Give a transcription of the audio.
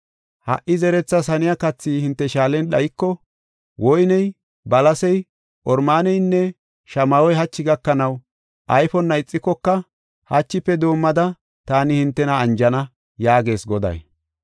Ha77i zerethas haniya kathi hinte shaalen dhayiko, woyney, balasey, oromaaneynne shamahoy hachi gakanaw ayfonna ixikoka, hachife doomada taani hintena anjana” yaagees Goday.